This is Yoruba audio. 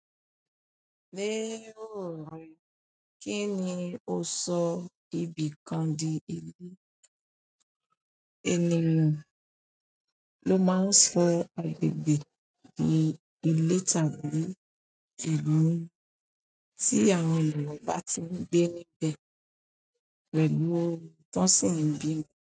Ní òrùn, kíni ò sọ ibìkàn di ilé? Ènìyàn ló máa ń sọ àgbègbè di ilé tàbí ìlú tí àwọn ènìyàn bá ti ń gbé níbẹ̀ pẹ̀lú ọ̀rọ̀ tọ sì ń bí i.